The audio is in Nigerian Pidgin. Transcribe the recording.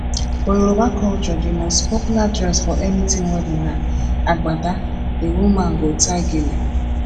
for yoruba culture the most popular dress for anything wedding na agbada the woman go tie gele